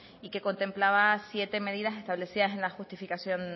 y que contemplaba siete medidas establecidas en la justificación